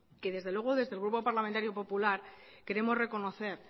que desde luego desde el grupo parlamentario popular queremos reconocer